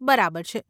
બરાબર છે.